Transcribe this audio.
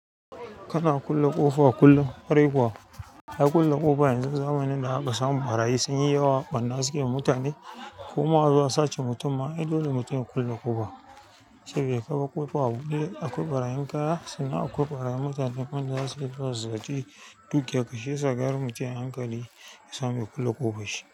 Kana kulle ƙofa kullum? Kwarai kuwa, har kulle ƙofa yanzu zamanin da aka samu ɓarayi sun yi yawa banna suke mutane. Kuma azo a sace mutum ma ai dole mutum ya kulle ƙofa. Sabida kabar ƙofa a buɗe akwai ɓarayin kaya sannan akwai ɓarayin mutanen wan da zasu ziyarci dukiyan shiyasa mutum a hankali. Yasamu ya, kulle ƙofa shi.